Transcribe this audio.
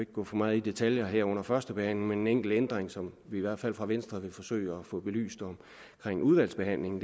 gå for meget i detaljer her under førstebehandlingen enkelt ændring som vi i hvert fald fra venstres side vil forsøge at få belyst i udvalgsbehandlingen